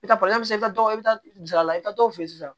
I bɛ taa i bɛ to i bɛ taa saraka i bɛ taa dɔw fe yen sisan